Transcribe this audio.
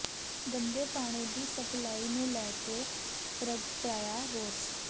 ਗੰਦੇ ਪਾਣੀ ਦੀ ਸਪਲਾਈ ਨੂੰ ਲੈ ਕੇ ਪ੍ਰਗਟਾਇਆ ਰੋਸ